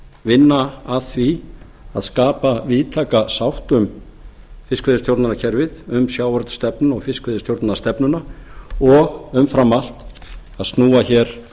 vinna að því að skapa víðtæka sátt um fiskveiðistjórnarkerfið um sjávarútvegsstefnuna og fiskveiðistjórnarstefnuna og umfram allt að snúa hér